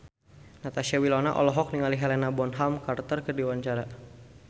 Natasha Wilona olohok ningali Helena Bonham Carter keur diwawancara